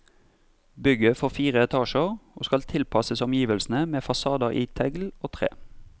Bygget får fire etasjer, og skal tilpasses omgivelsene med fasader i tegl og tre.